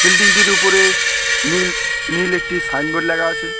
বিল্ডিংটির উপরে নীল-নীল একটি সাইনবোর্ড লাগা আছে।